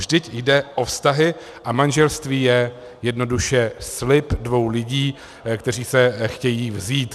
Vždyť jde o vztahy a manželství je jednoduše slib dvou lidí, kteří se chtějí vzít.